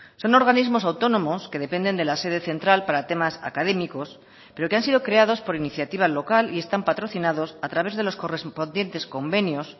son organismos autónomos que dependen de la sede central para temas académicos pero que han sido creados por iniciativa local y están patrocinados a través de los correspondientes convenios